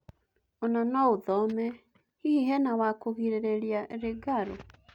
Ona-noũthome: Hihi hena wa kũgirĩrĩria Rĩngarũ ?